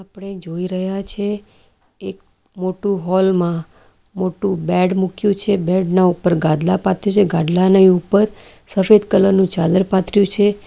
ને જોઈ રહ્યા છે એક મોટું હોલ માં મોટું બેડ મૂક્યું છે બેડ ના ઉપર ગાદલા પાથર્યા ગાદલાને ઉપર સફેદ કલર નું ચાદર પાથર્યું છે.